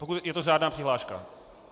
Pokud je to řádná přihláška.